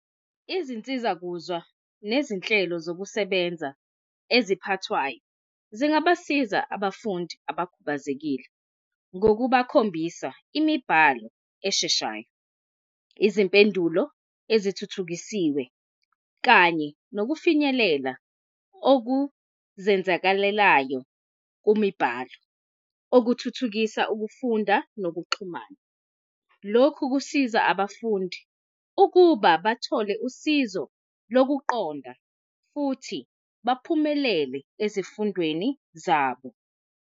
Izinsiza kuzwa nezinhlelo zokusebenza eziphathwayo zingabasiza abafundi abakhubazekile ngokubakhombisa imibhalo esheshayo, izimpendulo ezithuthukisiwe kanye nokufinyelela okuzenzakalelayo kumibhalo okuthuthukisa ukufunda nokuxhumana. Lokhu kusiza abafundi ukuba bathole usizo lokuqonda futhi baphumelele ezifundweni zabo.